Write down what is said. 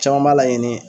Caman b'a laɲini